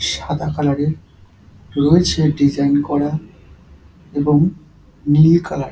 সাদা কালার -এর রয়েছে ডিজাইন করা এবং নীল কালার ।